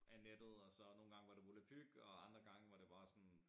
Af nettet og så nogen gange var det volapyk og andre gange var det bare sådan